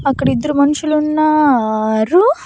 అక్కడ ఇద్దరు మనుషులున్నారు.